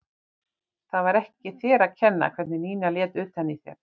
Það var ekki þér að kenna hvernig Nína lét utan í þér.